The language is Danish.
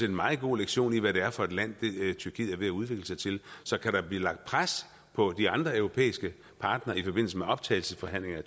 en meget god lektion i hvad det er for et land tyrkiet er ved at udvikle sig til så kan der blive lagt pres på de andre europæiske partnere i forbindelse med optagelsesforhandlinger